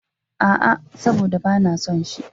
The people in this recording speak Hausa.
A,a, saboda ba na son shi.